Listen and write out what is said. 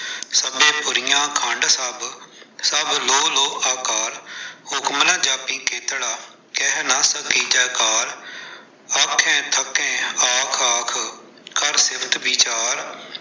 ਸਭੇ ਪੁਰੀਆ ਖੰਡ ਸਭ, ਸਭ ਲੋਹ ਲੋਹ ਆਕਾਰ, ਹੁਕਮ ਨ ਜਾਪਿ ਕੇਤੜਾ, ਕਹਿ ਨਾ ਸਕੀਜੈ ਕਾਲ, ਆਖਹਿ ਥਕੇ ਆਖ ਆਖ, ਕਰ ਸਿਫਤ ਵਿਚਾਰ।